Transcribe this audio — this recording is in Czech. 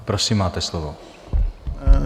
Prosím, máte slovo.